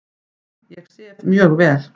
Ég sef mjög vel.